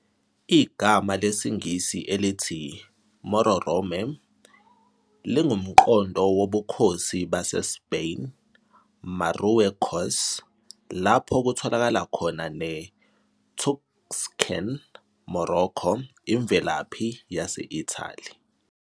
Igama lesiNgisi elithi Mororome lingumqondo wobukhosi baseSpain "Marruecos", lapho kutholakala khona neTuscan "Morrocco", imvelaphi yase-Italy.